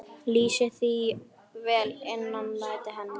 Lýsir það vel innræti hennar.